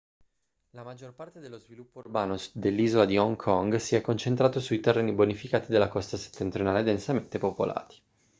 la maggior parte dello sviluppo urbano dell'isola di hong kong si è concentrato sui terreni bonificati della costa settentrionale densamente popolati